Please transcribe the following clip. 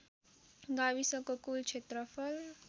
गाविसको कुल क्षेत्रफल